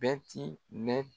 Bɛti bɛ.